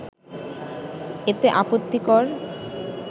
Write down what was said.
এতে আপত্তিকর